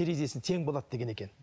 тең болады деген екен